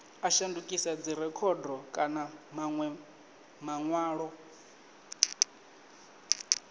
a shandukisa dzirekhodo kana manwe manwalo